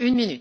Madam